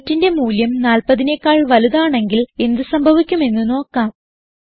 weightന്റെ മൂല്യം 40നെക്കാൾ വലുതാണെങ്കിൽ എന്ത് സംഭവിക്കും എന്ന് നോക്കാം